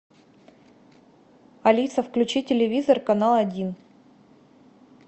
алиса включи телевизор канал один